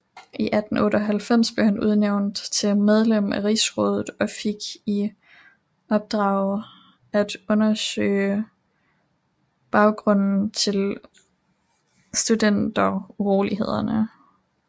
I 1898 blev han udnævnt til medlem af rigsrådet og fik i opdrag at undersøge baggrunden til studenturolighederne